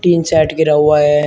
Tin shed गिरा हुआ है।